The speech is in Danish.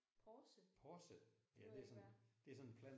Porse? Det ved jeg ikke hvad er